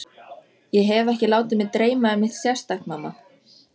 Ég hef ekki látið mig dreyma um neitt sérstakt, mamma.